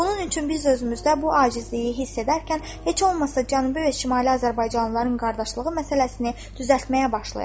Bunun üçün biz özümüzdə bu acizliyi hiss edərkən heç olmasa Cənubi və Şimali Azərbaycanlıların qardaşlığı məsələsini düzəltməyə başlayaq.